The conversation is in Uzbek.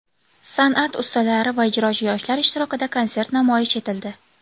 San’at ustalari va ijrochi yoshlar ishtirokida konsert namoyish etildi.